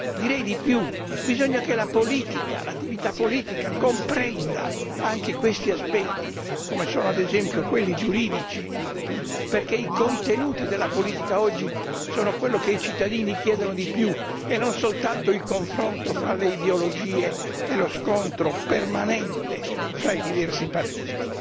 Direi di più bisogna che la politica, l'attività politica comprenda anche questi aspetti, come sono ad esempio quelli giuridici, perché i contenuti della politica oggi sono quello che i cittadini chiedono di più e non soltanto il confronto fra le ideologie e lo scontro permanente fra i diversi partiti.